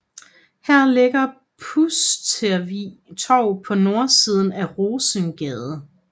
Her ligger Pustervig Torv på nordsiden af Rosensgade